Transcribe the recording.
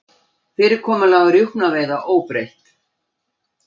Fyrirkomulag rjúpnaveiða óbreytt